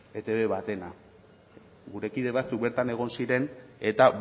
etb batena gure kide batzuk bertan egon ziren eta